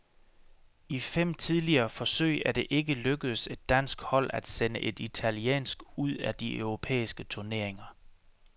I fem tidligere forsøg er det ikke lykkedes et dansk hold at sende et italiensk ud af de europæiske turneringer.